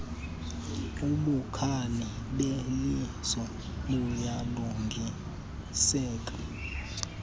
ubukhali beliso buyalungiseka